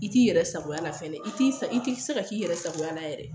I t'i yɛrɛ sagoya la fɛnɛ, i tɛ se ka k'i yɛrɛ sagoya la yɛrɛ.